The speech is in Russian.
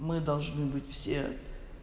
мы должны быть все